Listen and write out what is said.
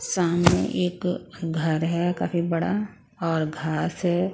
सामने एक घर है काफी बड़ा और घास है--